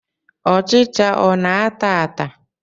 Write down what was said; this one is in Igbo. Ọchịcha ọ na-ata ata?